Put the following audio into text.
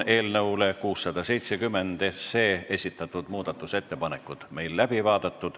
Eelnõu 670 kohta esitatud muudatusettepanekud on läbi vaadatud.